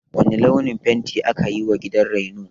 Wane launin fenti aka yiwa gidan raino?